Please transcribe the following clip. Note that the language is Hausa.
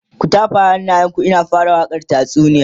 ku tafa hannayen ku in na fara wakan tatsuniyar